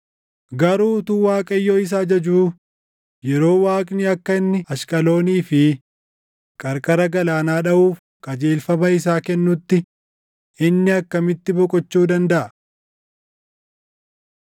Garuu utuu Waaqayyo isa ajajuu, yeroo Waaqni akka inni Ashqaloonii fi qarqara galaanaa dhaʼuuf qajeelfama isaa kennutti inni akkamitti boqochuu dandaʼa?”